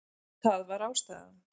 Það var ástæðan.